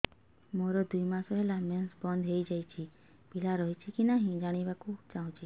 ମୋର ଦୁଇ ମାସ ହେଲା ମେନ୍ସ ବନ୍ଦ ହେଇ ଯାଇଛି ପିଲା ରହିଛି କି ନାହିଁ ଜାଣିବା କୁ ଚାହୁଁଛି